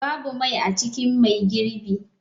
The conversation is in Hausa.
Babu mai a cikin mai girbi.